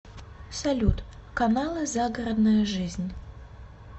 салют каналы загородная жизнь